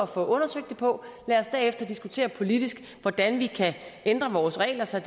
få undersøgt det på lad os derefter diskutere politisk hvordan vi kan ændre vores regler så